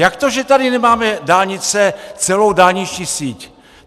Jak to, že tady nemáme dálnice, celou dálniční síť?